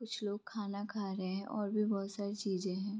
कुछ लोग खाना खा रहे हैं और भी बहोत सारी चीज़े है।